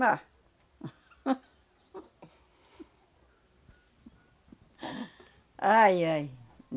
Mas... Ai, ai.